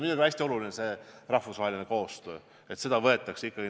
Muidugi on hästi oluline rahvusvaheline koostöö.